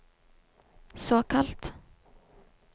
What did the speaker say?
såkalt